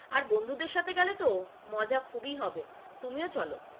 আর বন্ধুদের সাথে গেলে তো মজা খুবই হবে, তুমিও চলো,